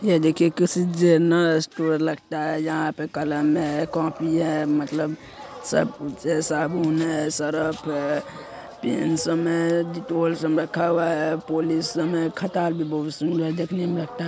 ये देखिये किसी जेनरल स्टोर लगता हैं। यहां पे कलम हैं कॉपी है। मतलब सब कु साबुन है सरफ हैं। पेंसम हैं। डेटोल सब रखा हुआ हैं। पॉलिसम है खटाल भी बहुत सुंदर देखने में लगता हैं।